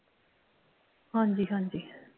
ਹਾਂਜੀ ਹਾਂਜੀ